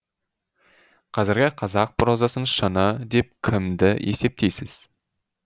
қазіргі қазақ прозасының шыңы деп кімді есептейсіз